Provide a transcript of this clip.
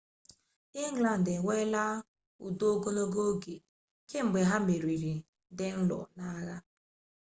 england enweela udo ogologo oge kamgbe ha merigharị danelaw n'agha